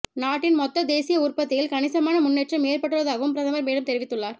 நாட்டின் மொத்த தேசிய உற்பத்தியில் கணிசமான முன்னேற்றம் ஏற்பட்டுள்ளதாகவும் பிரதமர் மேலும் தெரிவித்துள்ளார்